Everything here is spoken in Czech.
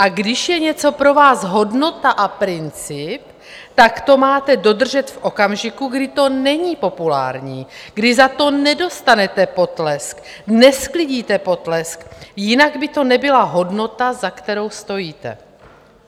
A když je něco pro vás hodnota a princip, tak to máte dodržet v okamžiku, kdy to není populární, kdy za to nedostanete potlesk, nesklidíte potlesk, jinak by to nebyla hodnota, za kterou stojíte.